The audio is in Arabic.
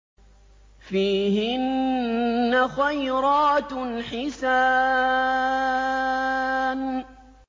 فِيهِنَّ خَيْرَاتٌ حِسَانٌ